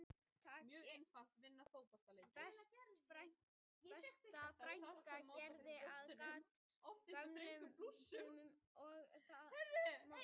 Besta frænka gerði við gat á gömlum buxum sem ég átti